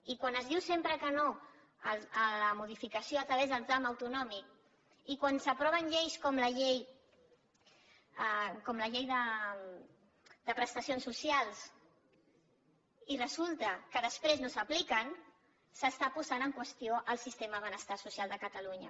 i quan es diu sempre que no a la modificació a través del tram autonòmic i quan s’aproven lleis com la llei de prestacions socials i resulta que després no s’apliquen s’està posant en qüestió el sistema de benestar social de catalunya